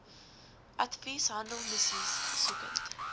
advies handelsmissies besoekend